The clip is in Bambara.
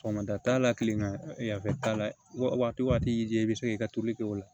Sɔgɔmada t'a la kilegan yan fɛ t'a la waati o waati y'i diya i bɛ se k'i ka toli kɛ o la